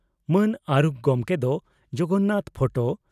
ᱢᱟᱹᱱ ᱟᱨᱩᱠᱷ ᱜᱚᱢᱠᱮ ᱫᱚ ᱡᱚᱜᱚᱱᱟᱛᱷ ᱯᱷᱚᱴᱚ